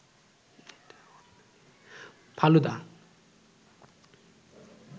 falooda